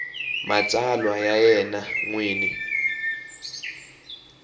matsalwa ya yena n wini